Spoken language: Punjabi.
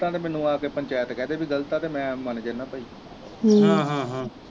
ਗਲਤ ਆ ਤਾ ਮੈਨੂੰ ਆ ਕੇ ਪੰਚਾਇਤ ਕਹਿ ਦੇ ਪੀ ਗ਼ਲਤ ਆ ਤੇ ਮੈ ਮੰਨ ਜਾਣਾ ਭਈ